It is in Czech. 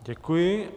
Děkuji.